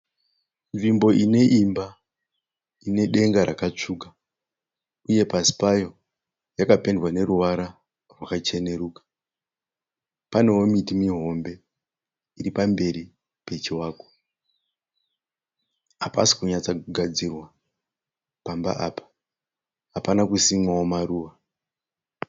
Nzvimbo ine imba ine denga rakatsvuka uye pasi payo yakapendwa neruvara rwakacheneruka. Panewo miti mihombe iri pamberi pechivakwa. Hapasi kunyatsogadzirwa pamba apa. Hapana kusimwawo maruva.